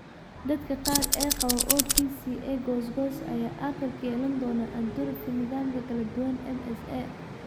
Dadka qaar ee qaba OPCA goos goos ah ayaa aakhirka yeelan doona atrophy nadaamka kala duwan (MSA).